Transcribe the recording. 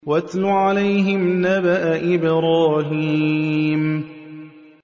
وَاتْلُ عَلَيْهِمْ نَبَأَ إِبْرَاهِيمَ